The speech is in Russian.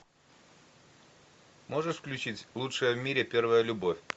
можешь включить лучшая в мире первая любовь